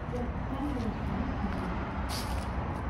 Chob baruet ab Kibet